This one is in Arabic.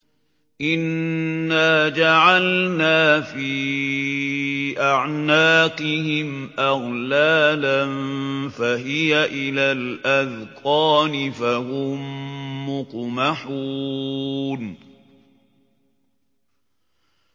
إِنَّا جَعَلْنَا فِي أَعْنَاقِهِمْ أَغْلَالًا فَهِيَ إِلَى الْأَذْقَانِ فَهُم مُّقْمَحُونَ